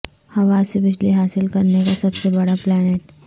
ہواسے بجلی حاصل کرنے کا سب سے بڑا پلانٹ